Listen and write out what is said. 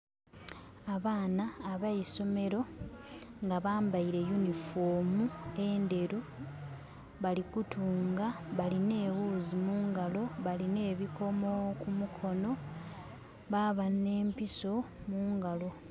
Abaana abeisomero nga bambeire yunifomu endheru. Bali kutunga balinha eghuzi mungalo, balinha ebikomo ku mikono baba nhe mpiso mungalo.